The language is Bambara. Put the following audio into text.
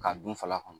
K'a dun fala kɔnɔ